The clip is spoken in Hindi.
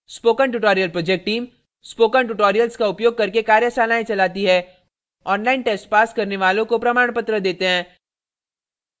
spoken tutorial project team spoken tutorial का उपयोग करके कार्यशालाएं चलाती है ऑनलाइन टेस्ट पास करने वालों को प्रमाणपत्र देते हैं